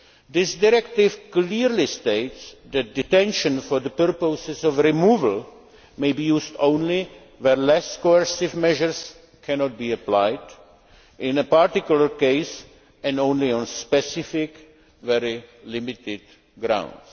This directive clearly states that detention for the purposes of removal may be used only where less coercive measures cannot be applied in a particular case and only on specific, very limited grounds.